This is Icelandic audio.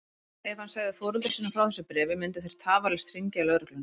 Ef hann segði foreldrum sínum frá þessu bréfi myndu þeir tafarlaust hringja í lögregluna.